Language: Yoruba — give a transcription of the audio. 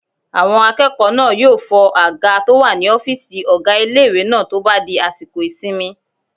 Àwọn akẹ́kọ̀ọ́ náà yóò fọ àga tó wà ní ọ́fìsì ọgá ilé-ìwé náà tó bá di àsìkò ìsinmi